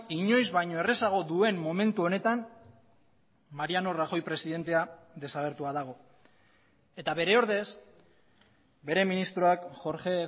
inoiz baino errazago duen momentu honetan mariano rajoy presidentea desagertua dago eta bere ordez bere ministroak jorge